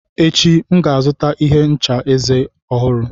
Echi, M ga-azụta ihe ncha eze ọhụrụ.